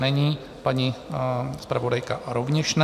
Není, paní zpravodajka rovněž ne.